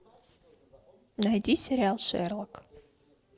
найди сериал шерлок